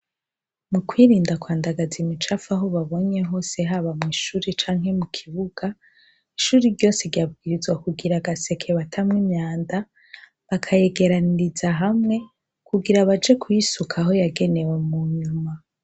mu kwirinda kwa ndagaza imicafu aho babonye hose haba mwishuri canke mu kibuga ishuri ryose ryabwirizwa kugira agaseke batamwa imyanda bakayegeraniriza hamwe kugira baje kuyisuka aho yagenewe mu nyuma